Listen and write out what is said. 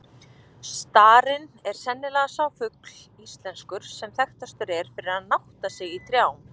Starinn er sennilega sá fugl íslenskur, sem þekktastur er fyrir að nátta sig í trjám.